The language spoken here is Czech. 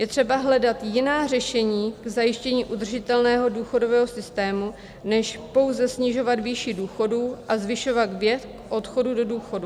Je třeba hledat jiná řešení k zajištění udržitelného důchodového systému, než pouze snižovat výši důchodů a zvyšovat věk odchodu do důchodu.